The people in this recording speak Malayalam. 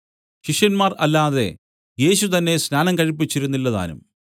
ശിഷ്യന്മാർ അല്ലാതെ യേശു തന്നേ സ്നാനം കഴിപ്പിച്ചിരുന്നില്ലതാനും